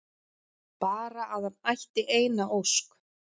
Bara að hann ætti eina ósk!